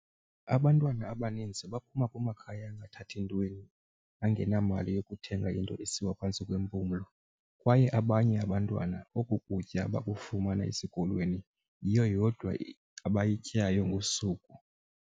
"Abantwana abaninzi baphuma kumakhaya angathathi ntweni, angenamali yokuthenga into esiwa phantsi kwempumlo, kwaye abanye abantwana oku kutya bakufumana esikolweni, yiyo yodwa abayityayo ngosuku."